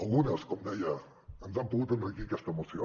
algunes com deia ens han pogut enriquir aquesta moció